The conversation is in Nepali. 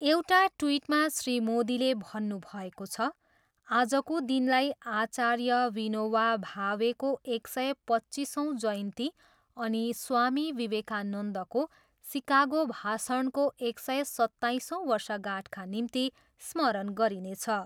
एउटा ट्विटमा श्री मोदीले भन्नुभएको छ, आजको दिनलाई आचार्य विनोवा भावेको एक सय पच्चिसौँ जयन्ती अनि स्वामी विवेकानन्दको सिकागो भाषणको एक सय सत्ताइसौँ वर्षगाँठका निम्ति स्मरण गरिनेछ।